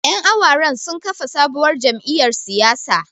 Ƴan awaren sun kafa sabuwar jamiyyar siyasa.